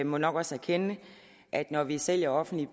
må nok også erkende at når vi sælger offentlige